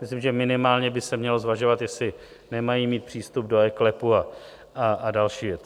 Myslím, že minimálně by se mělo zvažovat, jestli nemají mít přístup do eKLEPu a další věci.